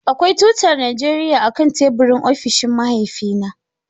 Akwai tutar Najeriya akan teburin ofishin mahaifina.